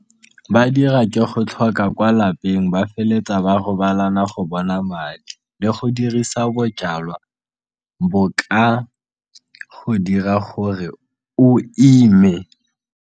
Ba dira ke go tlhoka kwa lapeng ba feletsa ba robalana go bona madi le go dirisa bojalwa bo ka go dira gore o ime.